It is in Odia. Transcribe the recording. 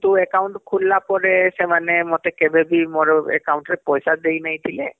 କିନ୍ତୁ account ଟା ଖୁଲୀଲା ପରେ ସେମାନେ ମତେ କେଭେଁବି ମର account ରେ ପଇସା ଦେଇନାଇଥିଲେ